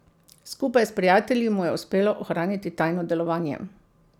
Skupaj s prijatelji mu je uspelo ohraniti tajno delovanje.